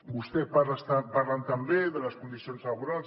vostès parlen també de les condicions laborals